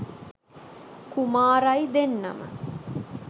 කුමාරයි දෙන්නම